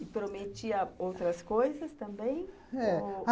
E prometia outras coisas também?